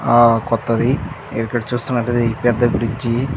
ఆ కొత్తది ఇక్కడ చూస్తున్నట్టయితే పెద్ద బ్రిడ్జి --